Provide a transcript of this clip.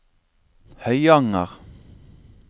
Høyanger